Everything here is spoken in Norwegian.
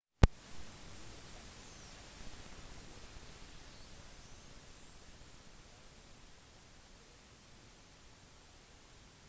luxembourg har en lang historie men har vært selvstendig siden 1839